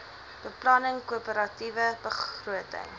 beplanning koöperatiewe begroting